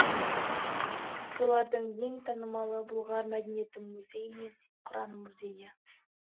солардың ең танымалы бұлғар мәдениеті музейі мен құран музейі